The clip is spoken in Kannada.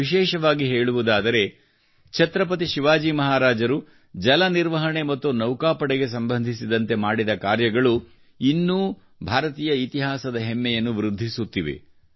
ವಿಶೇಷವಾಗಿ ಹೇಳುವುದಾದರೆ ಛತ್ರಪತಿ ಶಿವಾಜಿ ಮಹಾರಾಜರು ಜಲ ನಿರ್ವಹಣೆ ಮತ್ತು ನೌಕಾಪಡೆಗೆ ಸಂಬಂಧಿಸಿದಂತೆ ಮಾಡಿದ ಕಾರ್ಯಗಳು ಇನ್ನೂ ಭಾರತೀಯ ಇತಿಹಾಸದ ಹೆಮ್ಮೆಯನ್ನು ವೃದ್ಧಿಸುತ್ತಿವೆ